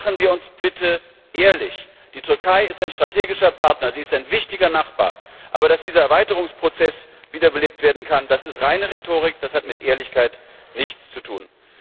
Aber seien wir bitte ehrlich Die Türkei ist ein strategischer Partner, sie ist ein wichtiger Nachbar, aber dass dieser Erweiterungsprozess wiederbelebt werden kann, das ist reine Rhetorik, das hat mit Ehrlichkeit nichts zu tun.